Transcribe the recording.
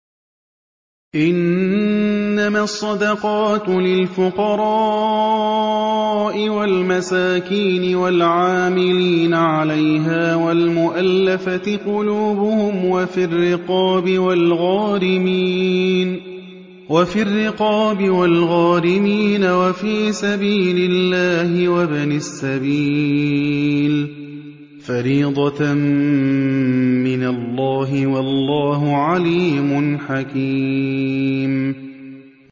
۞ إِنَّمَا الصَّدَقَاتُ لِلْفُقَرَاءِ وَالْمَسَاكِينِ وَالْعَامِلِينَ عَلَيْهَا وَالْمُؤَلَّفَةِ قُلُوبُهُمْ وَفِي الرِّقَابِ وَالْغَارِمِينَ وَفِي سَبِيلِ اللَّهِ وَابْنِ السَّبِيلِ ۖ فَرِيضَةً مِّنَ اللَّهِ ۗ وَاللَّهُ عَلِيمٌ حَكِيمٌ